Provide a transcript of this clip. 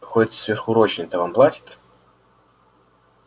хоть сверхурочные-то вам платят